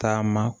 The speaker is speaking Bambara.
Taama